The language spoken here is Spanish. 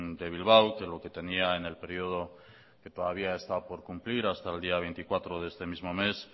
de bilbao que lo que tenía en el periodo que todavía está por cumplir hasta el día veinticuatro de este mismo mes